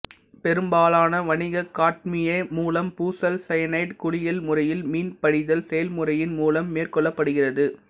பெரும்பாலான வணிக காட்மிய முலாம் பூசல் சயனைடு குளியல் முறையில் மின்படிதல் செயல்முறையின் மூலம் மேற் கொள்ளப்படுகிறது